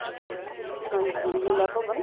ਹਾਂਜੀ ਲੀਲਾ ਭਵਨ